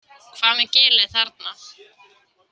Hvað með gilið þarna?